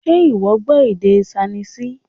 Ṣé ìwọ gbọ́ èdè Ṣainíìsì?